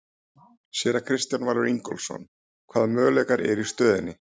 Séra Kristján Valur Ingólfsson: Hvaða möguleikar eru í stöðunni?